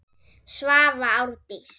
Svava Árdís.